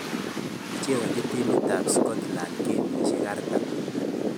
Kichezonchi timit ap scotland kemishek 40.